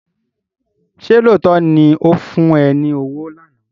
Ṣé lóòótọ́ ni ó fún ẹ ní owó lánàá?